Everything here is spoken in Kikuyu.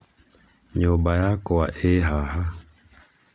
nyũmba yakwa ĩĩ haha